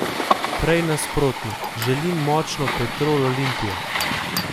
Prej nasprotno, želim močno Petrol Olimpijo.